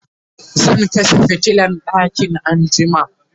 zan kashe fitilan ɗakin anjima